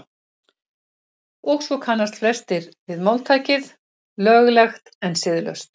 og svo kannast flestir við máltækið „löglegt en siðlaust“